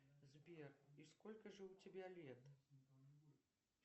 сбер и сколько же у тебя лет